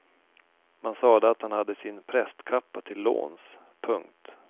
Man sade att han hade sin prästkappa till låns. punkt